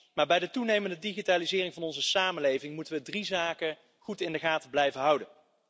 Maar bij de toenemende digitalisering van onze samenleving moeten we drie zaken goed in de gaten blijven houden.